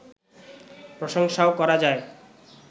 প্রশংসাও করা যায়